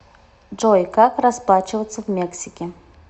джой как расплачиваться в мексике